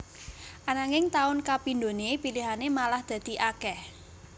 Ananging taun kapindhone pilihane malah dadi akeh